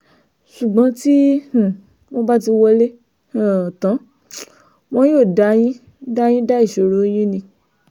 ṣùgbọ́n tí um wọ́n bá ti wọlé um tán wọn yóò dá yín dá yín dá ìṣòro yín ni